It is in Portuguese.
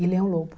E Leão Lobo.